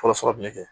Fɔlɔ fɔlɔ min kɛ